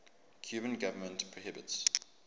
cuban government prohibits